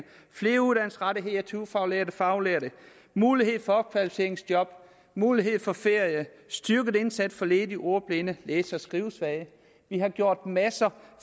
flere uddannelsesrettigheder til ufaglærte og faglærte mulighed for opkvalificeringsjob mulighed for ferie en styrket indsats over for ledige ordblinde det er så skrivesvage vi har gjort en masse